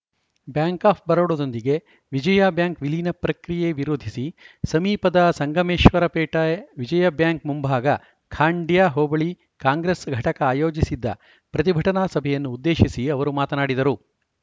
bank of ಬರೋಡದೊಂದಿಗೆ Vijaya bank ವಿಲೀನ ಪ್ರಕ್ರಿಯೆ ವಿರೋಧಿಸಿ ಸಮೀಪದ ಸಂಗಮೇಶ್ವರಪೇಟ ವಿಜಯ ಬ್ಯಾಂಕ್‌ ಮುಂಭಾಗ ಖಾಂಡ್ಯ ಹೋಬಳಿ ಕಾಂಗ್ರೆಸ್‌ ಘಟಕ ಆಯೋಜಿಸಿದ್ದ ಪ್ರತಿಭಟನಾ ಸಭೆಯನ್ನು ಉದ್ದೇಶಿಸಿ ಅವರು ಮಾತನಾಡಿದರು